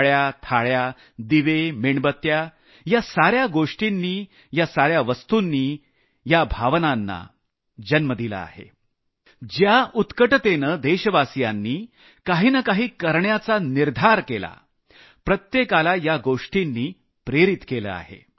टाळ्या थाळ्या दिवे मेणबत्त्या या साऱ्या वस्तुंनी ज्या भावनांना जन्म दिला ज्या उत्कटतेनं देशवासियांनी काही न काही करण्याचा निर्धार केला प्रत्येकाला या गोष्टींनी प्रेरित केलं आहे